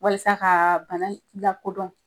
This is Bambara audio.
Walasa ka bana in lakodɔn